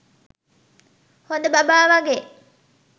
හොඳ බබා වගේ